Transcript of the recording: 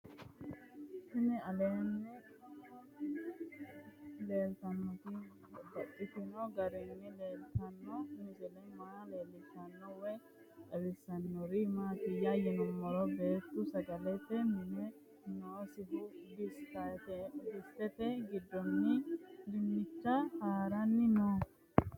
Tinni aleenni leelittannotti babaxxittinno garinni leelittanno misile maa leelishshanno woy xawisannori maattiya yinummoro beettu sagalette mini noosihu disiteetti giddonni dinicha haranni noo